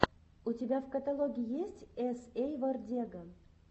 у тебя в каталоге есть эс эй вордега